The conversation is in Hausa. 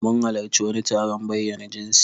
Mun halarci wani taron bayyana jinsi.